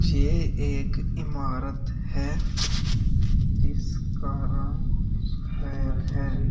ये एक इमारत है इसका रंग सफेद है।